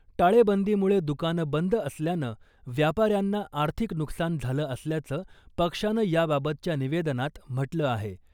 टाळेबंदीमुळे दुकानं बंद असल्यानं व्यापाऱ्यांना आर्थिक नुकसान झालं असल्याचं पक्षानं याबाबतच्या निवेदनात म्हटलं आहे .